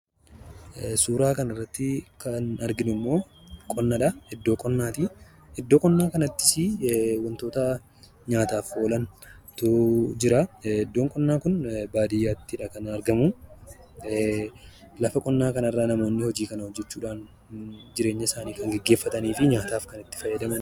Suuraa kanaa gadii irratti kan argamu bakka qonnaati. Bakka qonnaa kanattis wantoota nyaataaf oolantu jira. Bakki qonnaa Kunis baadiyyaatti kan argamuu dha. Bakka qonnaa kanattis namoonni jireenya isaanii kan ittiin gaggeeffatanii fi nyaataaf kan itti fayyadamanii dha.